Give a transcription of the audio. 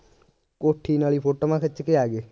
ਕੋਠੀ ਨਾਲ ਈ ਫੋਟੋਆਂ ਖਿੱਚ ਕੇ ਆ ਗਏ